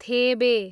थेबे